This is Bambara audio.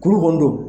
Kuru kɔni don